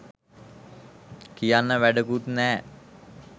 කියන්න වැඩකුත් නෑ